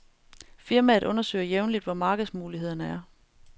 Firmaet undersøger jævnligt, hvordan markedsmulighederne er.